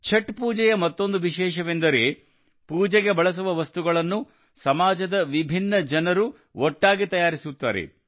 ಛಠ್ ಪೂಜೆಯ ಮತ್ತೊಂದು ವಿಶೇಷವೆಂದರೆ ಪೂಜೆಗೆ ಬಳಸುವ ವಸ್ತುಗಳನ್ನು ಸಮಾಜದ ವಿಭಿನ್ನ ಜನರು ಒಟ್ಟಾಗಿ ತಯಾರಿಸುತ್ತಾರೆ